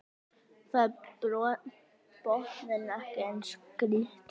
Þar er botninn ekki eins grýttur